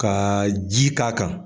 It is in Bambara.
Ka ji k'a kan